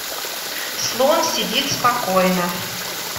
слон сидит спокойно